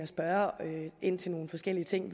spørge ind til nogle forskellige ting